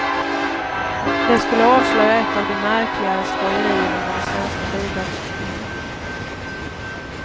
Det skulle avslöja ett av de märkligare skojerierna med det svenska bidragsystemet.